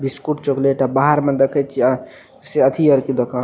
biscuit chocolate अ बाहर में देखई छी आ से अथी आर के दुकान --